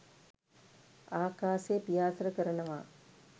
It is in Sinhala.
ආකාසේ පියාසර කරනවා.